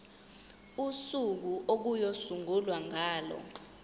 usuku okuyosungulwa ngalo